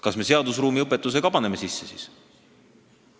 Kas me paneme siis seadusruumi õpetuse ka siia sisse?